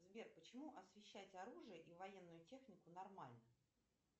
сбер почему освещать оружие и военную технику нормально